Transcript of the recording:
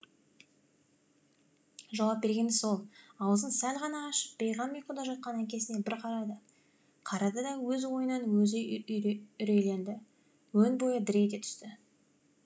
жауап бергені сол аузын сәл ғана ашып бейғам ұйқыда жатқан әкесіне бір қарады қарады да өз ойынан өзі үрейленді өн бойы дір ете түсті